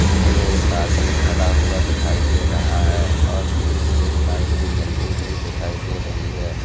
जिसमें एक आदमी खड़ा हुआ दिखाई दे रहा है और पीछे एक लाइट भी जलती हुई दिखाई दे रही है।